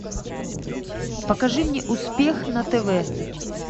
покажи мне успех на тв